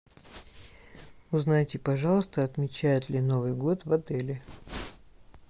узнайте пожалуйста отмечают ли новый год в отеле